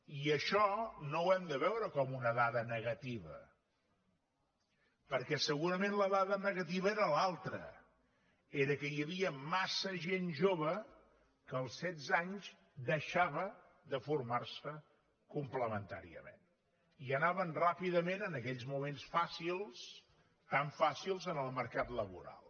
i això no ho hem de veure com una dada negativa perquè segurament la dada negativa era l’altra era que hi havia massa gent jove que als setze anys deixava de formar se complementàriament i anava ràpidament en aquells moments fàcils tan fàcils al mercat laboral